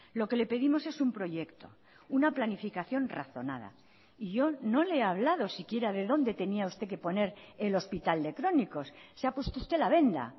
lo que le pedimos es un proyecto una planificación razonada y yo no le he hablado siquiera de dónde tenía usted que poner el hospital de crónicos se ha puesto usted la venda